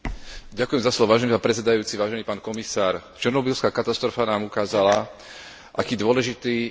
Černobyľská katastrofa nám ukázala, aké dôležité je mať prepracovaný systém informovanosti.